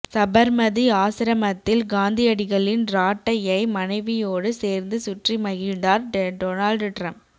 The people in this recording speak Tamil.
சபர்மதி ஆசிரமத்தில் காந்தியடிகளின் ராட்டையை மனைவியோடு சேர்ந்து சுற்றி மகிழ்ந்தார் டொனால்டு டிரம்ப்